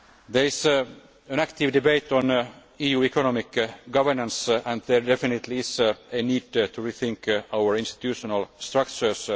There is an active debate on EU economic governance and there definitely is a need to rethink our institutional structures.